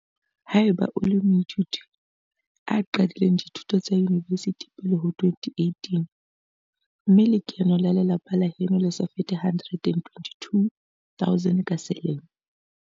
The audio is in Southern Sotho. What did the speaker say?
Ha eba o le moithuti a qadileng dithuto tsa yunivesithi pele ho 2018 mme lekeno la lelapa la heno le sa fete R122 000 ka selemo.